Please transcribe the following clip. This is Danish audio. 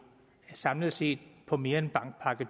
samlet set på mere end bankpakke